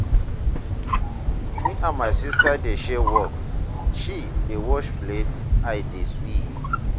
Me and my sister dey share work, she dey wash plate, I dey sweep.